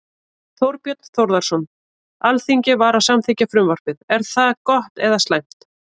Þorbjörn Þórðarson: Alþingi var að samþykkja frumvarpið, er það gott eða slæmt?